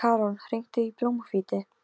Allir sem ekki eru á hreppnum eru ríkir.